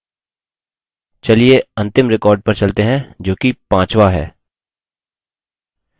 चलिए अंतिम record पर चलते हैं जोकि पाँचवा है